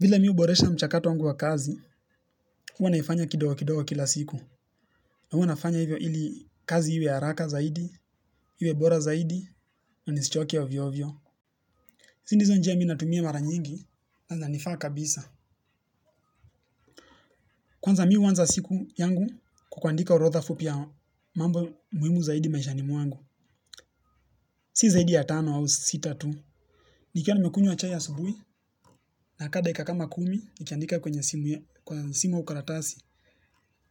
Vile mimi huboresha mchakato wangu wa kazi, huwa naifanya kidogo kidogo kila siku. Na huwa nafanya hivyo ili kazi iwe haraka zaidi, iwe bora zaidi, na nisichoke ovyo ovyo hizi ndizo njia mimi natumia mara nyingi na zinanifaa kabisa. Kwanza mimi huanza siku yangu kwa kuandika orodha fupi ya mambo muhimu zaidi maishani mwangu. Si zaidi ya tano au sita tu. Nikiwa nimekunywa chai asubuhi, nakaa dakika kama kumi nikiandika kwenye simu ya, kwa simu au karatasi.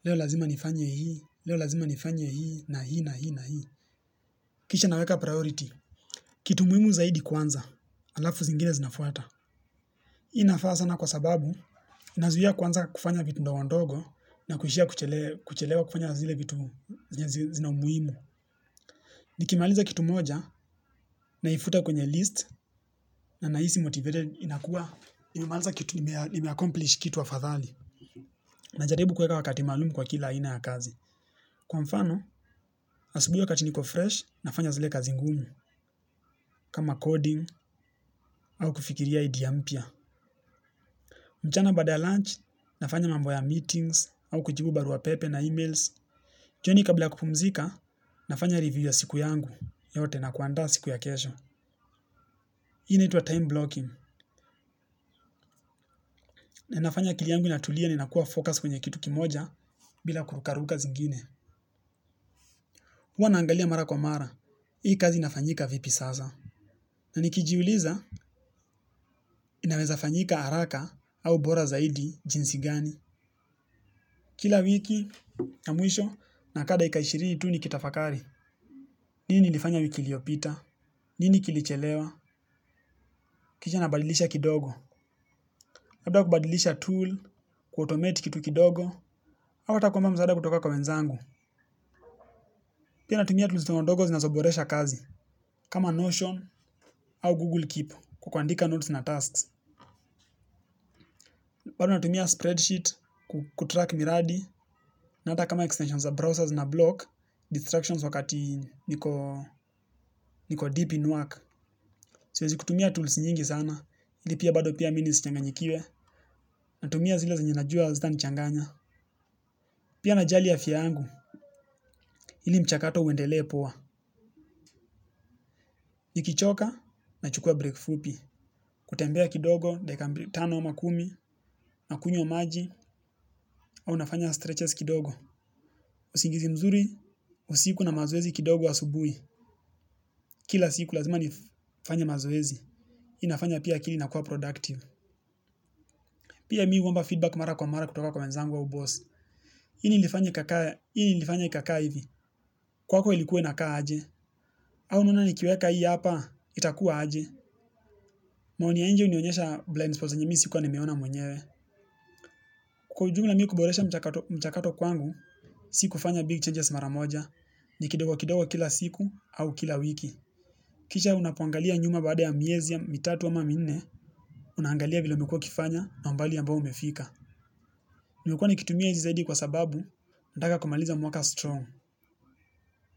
Leo lazima nifanye hii, leo lazima nifanye hii na hii na hii na hii kisha naweka priority kitu muhimu zaidi kwanza, halafu zingine zinafuata. Hii inafaa sana kwa sababu inazuia kuanza kufanya vitu ndogo ndogo na kuishia kuchelewa kufanya zile vitu zenye zina umuhimu. Nikimaliza kitu moja naifuta kwenye list na nahisi motivated inakuwa nimemaliza kitu nimeaccomplish kitu afadhali. Najaribu kuweka wakati maalumu kwa kila aina ya kazi kwa mfano, asubuhi wakati niko fresh, nafanya zile kazi ngumu. Kama coding, au kufikiria idea mpya. Mchana baada ya lunch, nafanya mambo ya meetings au kujibu barua pepe na emails. Jioni kabla ya kupumzika, nafanya review ya siku yangu yote na kuaanda siku ya kesho. Hii inaitwa time blocking. Na inafanya akili yangu inatulia ninakuwa focused kwenye kitu kimoja. Bila kurukaruka zingine huwa naangalia mara kwa mara. Hii kazi inafanyika vipi sasa. Na nikijiuliza, inaweza fanyika haraka au bora zaidi jinsi gani. Kila wiki ya mwisho nakaa dakika ishirini tu nikitafakari. Nini nilifanya wiki iliyopita? Nini kilichelewa? Kisha nabadilisha kidogo. Baada ya kubadilisha tool, kuautomate kitu kidogo, ama hata kuomba msaada kutoka kwa wenzangu. Pia natumia tools ndogo ndogo zinazoboresha kazi. Kama Notion au Google Keep kwa kuandika notes na tasks. Bado natumia spreadsheet kutrack miradi, na hata kama extension za browsers nablock distractions wakati niko niko deep in work siwezi kutumia tools nyingi sana ili pia bado pia mimi nisichanganyikiwe. Natumia zile zenye najua hazitanichanganya. Pia najali afya yangu ili mchakato uendelee poa nikichoka nachukua break fupi. Kutembea kidogo dakika tano ama kumi. Nakunywa maji au nafanya stretches kidogo. Usingizi mzuri usiku na mazoezi kidogo asubuhi. Kila siku lazima nifanye mazoezi inafanya pia akili inakuwa productive. Pia mimi huomba feedback mara kwa mara kutoka kwa wenzangu au boss nini ilifanya ikakaa nini ilifanya ikakaa hivi kwako ilikuwa inakaa aje. Au unaona nikiweka hii hapa itakuwa aje maoni ya nje hunionyesha blindspots zenye mimi sikuwa nimeona mwenyewe kwa ujumla mimi kuboresha mchakato mchakato kwangu. Si kufanya big changes mara moja ni kidogo kidogo kila siku au kila wiki. Kisha unapoangalia nyuma baada ya miezi mitatu ama minne unaangalia vile umekuwa ukifanya na umbali ambao umefika. Nimekuwa nikitumia hizi zaidi kwa sababu nataka kumaliza mwaka strong.